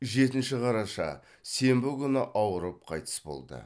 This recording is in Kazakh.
жетінші қараша сенбі күні ауырып қайтыс болды